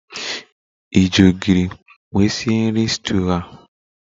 Ị ji ogiri nwe sie nri stuuyu a?